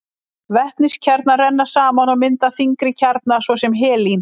Vetniskjarnar renna saman og mynda þyngri kjarna, svo sem helín.